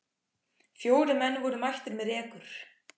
Fjórir menn voru mættir með rekur.